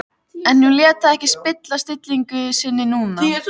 En hún lét það ekki spilla stillingu sinni núna.